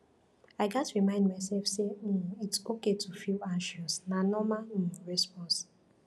i gats remind myself say um its okay to feel anxious na normal um response